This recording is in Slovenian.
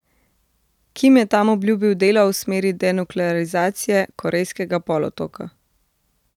Kim je tam obljubil delo v smeri denuklearizacije Korejskega polotoka.